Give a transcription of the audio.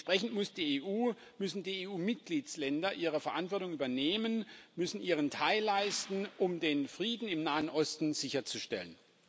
Entsprechend muss die EU, müssen die EU Mitgliedstaaten ihre Verantwortung übernehmen, müssen ihren Teil leisten, um den Frieden im Nahen Osten sicherzustellen.